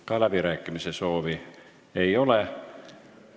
Ka läbirääkimise soovi ei ole.